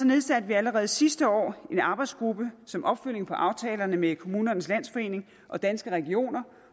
nedsatte vi allerede sidste år en arbejdsgruppe som opfølgning på aftalerne med kommunernes landsforening og danske regioner